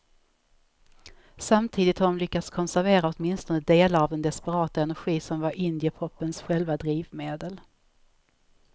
Samtidigt har de lyckats konservera åtminstone delar av den desperata energi som var indiepopens själva drivmedel.